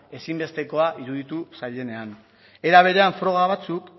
ezinbestekoa iruditu zaienean era berean froga batzuk